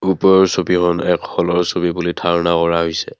ওপৰৰ ছবিখন এক হলৰ ছবি বুলি ধাৰণা কৰা হৈছে।